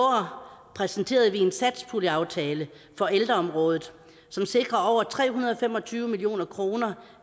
præsenterede vi en satspuljeaftale på ældreområdet som sikrer over tre hundrede og fem og tyve million kroner